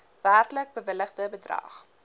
werklik bewilligde bedrag